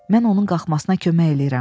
Mən onun qalxmasına kömək eləyirəm.